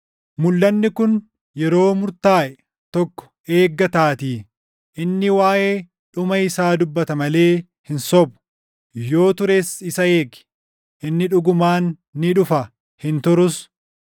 Mulʼanni kun yeroo murtaaʼe tokko eeggataatii; inni waaʼee dhuma isaa dubbata malee hin sobu. Yoo tures isa eegi; inni dhugumaan ni dhufa; hin turus.